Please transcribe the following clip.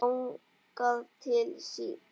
Þangað til síðar.